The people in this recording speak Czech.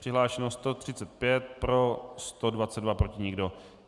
Přihlášeno 135, pro 122, proti nikdo.